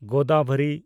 Godavari